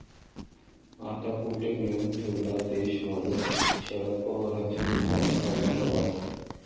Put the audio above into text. आता, कुठे नेऊन ठेवला देश माझा?, शरद पवारांचा भाजपला सवाल